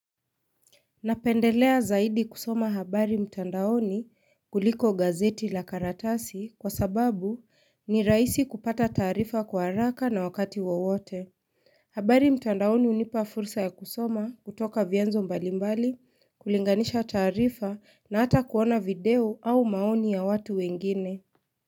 Napendelea zaidi kusoma habari mtandaoni kuliko gazeti la karatasi kwa sababu ni rahisi kupata taarifa kwa haraka na wakati wowote. Habari mtandaoni unipa fursa ya kusoma kutoka vyanzo mbalimbali, kulinganisha taarifa na hata kuona video au maoni ya watu wengine.